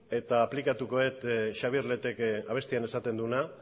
eta aplikatu dut xabier letek abestian esaten duena